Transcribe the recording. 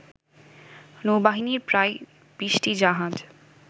নৌবাহিনীর প্রায় ২০টি জাহাজ